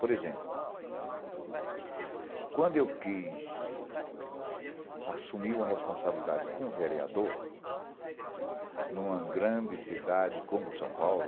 Por exemplo, quando eu quis assumir uma responsabilidade com o vereador em uma grande cidade como São Paulo,